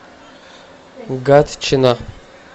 гатчина